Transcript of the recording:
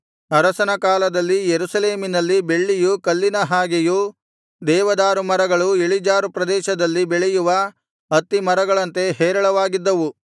ಅರಸನ ಕಾಲದಲ್ಲಿ ಯೆರೂಸಲೇಮಿನಲ್ಲಿ ಬೆಳ್ಳಿಯು ಕಲ್ಲಿನ ಹಾಗೆಯೂ ದೇವದಾರು ಮರಗಳು ಇಳಿಜಾರು ಪ್ರದೇಶದಲ್ಲಿ ಬೆಳೆಯುವ ಅತ್ತಿ ಮರಗಳಂತೆ ಹೇರಳವಾಗಿದ್ದವು